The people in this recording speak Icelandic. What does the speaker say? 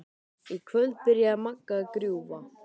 Í kvöld byrjaði Magga að grúfa.